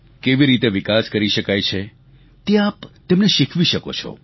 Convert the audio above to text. કેવી રીતે વિકાસ કરી શકાય છે તે આપ તેમને શીખવી શકો છો